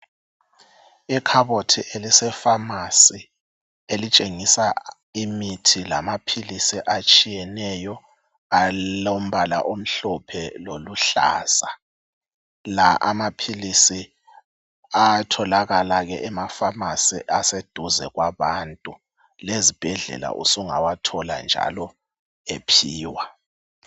ikhabothi elise phamarcy elitshengisa imithi lamaphilisi atshiyeneyo alombala omhlophe loluhlaza la amaphilisi ayatholakala ema phamarcy aseduze kwabantu lezibhedlela usngawathola njalo ephiwa